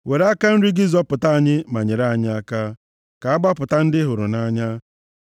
Were aka nri gị zọpụta anyị ma nyere anyị aka, ka a gbapụta ndị ị hụrụ nʼanya.